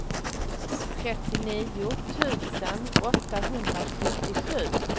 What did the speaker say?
trettionio tusen åttahundrasjuttiosju